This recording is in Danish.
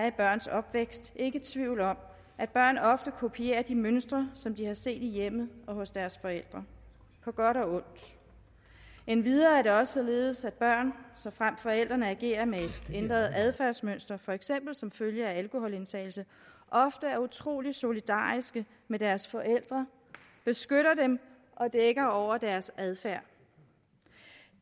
i børns opvækst ikke tvivl om at børn ofte kopierer de mønstre som de har set i hjemmet og hos deres forældre på godt og ondt endvidere er det også således at børn såfremt forældrene agerer med et ændret adfærdsmønster for eksempel som følge af alkoholindtagelse ofte er utrolig solidariske med deres forældre beskytter dem og dækker over deres adfærd